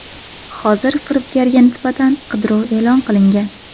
Hozir firibgarga nisbatan qidiruv e’lon qilingan.